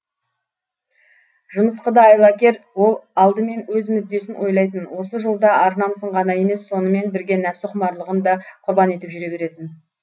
жымысқы да айлакер ол алдымен өз мүддесін ойлайтын осы жолда ар намысын ғана емес сонымен бірге нәпсіқұмарлығын да құрбан етіп жүре беретін